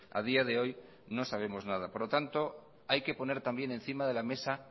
a día de hoy no sabemos nada por lo tanto hay que poner también encima de la mesa